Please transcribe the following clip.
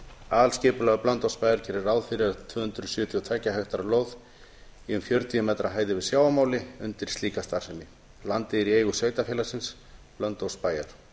aðalskipulag blönduósbæjar gerir ráð fyrir tvö hundruð sjötíu og tveggja hektara lóð í fjörutíu m yfir sjávarmáli undir slíka starfsemi landið er í eigu sveitarfélagsins blönduósbæjar